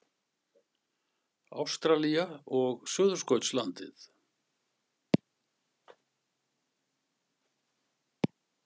Ástralía og Suðurskautslandið.